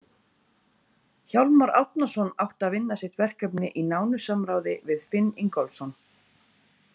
Hjálmar Árnason átti að vinna sitt verkefni í nánu samráði við Finn Ingólfsson.